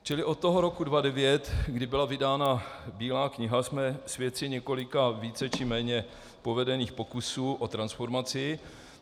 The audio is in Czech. Čili od toho roku 2009, kdy byla vydána Bílá kniha, jsme svědky několika více či méně povedených pokusů o transformaci.